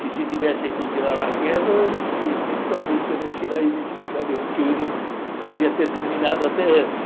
Que se tivessem continuado a guerra, infelizmente talvez tivessem que ir lá e identificar o avião, que não podia ter terminado até antes.